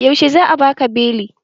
Yaushe za'a baka beli?